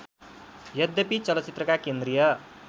यद्यपि चलचित्रका केन्द्रीय